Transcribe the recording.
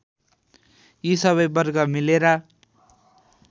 यी सबै वर्ग मिलेर